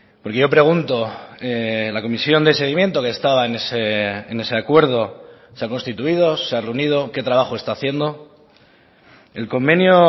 porque yo pregunto la comisión de seguimiento que estaba en ese acuerdo se ha constituido se ha reunido qué trabajo está haciendo el convenio